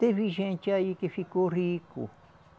Teve gente aí que ficou rico.